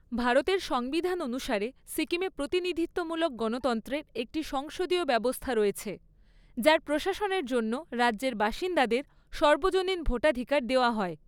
ভারতের সংবিধান অনুসারে, সিকিমে প্রতিনিধিত্বমূলক গণতন্ত্রের একটি সংসদীয় ব্যবস্থা রয়েছে, যার প্রশাসনের জন্য রাজ্যের বাসিন্দাদের সর্বজনীন ভোটাধিকার দেওয়া হয়।